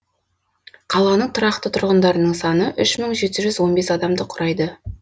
қаланың тұрақты тұрғындарының саны үш мың жеті жүз он бес адамды құрайды